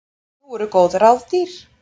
Nú eru góð ráð dýr!